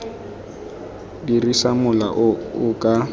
dirisa mola o o ka